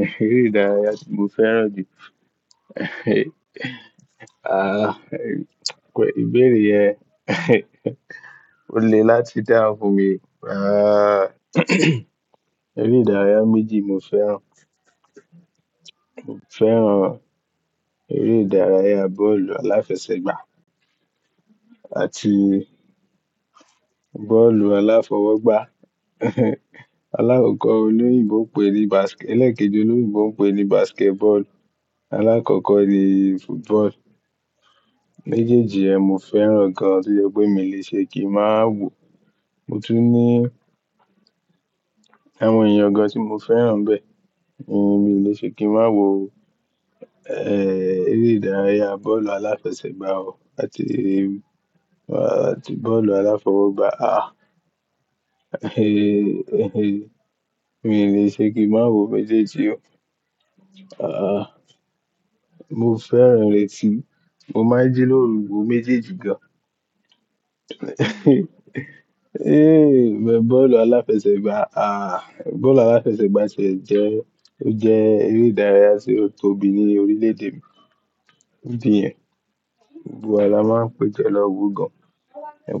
Eré idàráyà tí mo fẹ́ràn jù àh, pé ìbéèrè yẹn o le láti dáhùn fun mi. Àh, eré idàráyà méjì mo fẹ́ràn. Mo fẹ́ràn erédàráyà bọ́ọ̀lù aláfẹsẹ̀gbá àti bọ́ọ̀lù aláfọwọ́gbá. Alákọ̀kọ̀ olóyìnbo n pe ní baske-- ẹlẹ́ekẹ́ji olóyìnbo n pe ní basketball, alákọ̀kọ́ ni football. Méjèèjì yẹn, mo fẹ́ràn gan an tí jẹ pé mi i le ṣe kí ń máa wò. Mo tún ní àwọn èèyàn gan an tí mo fẹ́ràn n bẹ. Mi o le ṣe kí ń máa wò, eh, eré idàráyà bọ́ọ̀lù aláfẹsẹ̀gbá o àti, àti bọ́ọ̀lù aláfọwọ́gbá. Àh, mi le ṣe kí ń máa wò méjèèjì o. Àh, mo fẹ́ràn rẹ̀ ti mo máa jí lórú wo méjèèjì gan an. É, mẹ́n bọ́ọ̀lù aláfẹsẹ̀gbá, àh, bọ́ọ̀lù aláfẹsẹ̀gbá tiè jẹ́, ó jẹ́ eré idàráyà tí o tóbi ní orílẹ̀-èdè mi. Idi niyẹn. Gbogbo wa la máa ń pé jo lọ́wọ́ gan an.